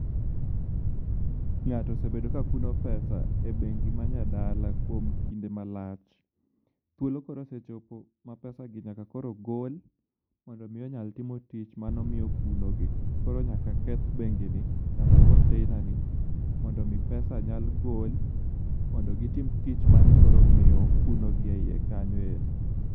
Ng'ato osebedo ka kuno pesa e bengi ma nya dala kuom kinde malach. Thuolo koro osechopo ma pesa gi nyaka koro gol mondo mi onyal timo tich mane omiyo okuno gi. Koro nyaka keth bengi ni kata container ni mondo mi pesa nyal gol mondo gitim tim mane koro omiyo okunogi e yie kanyo endi.